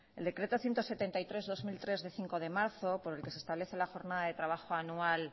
el decreto ciento setenta y tres barra dos mil tres de cinco de marzo por el que se establece la jornada de trabajo anual